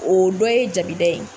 O dɔ ye jabida ye.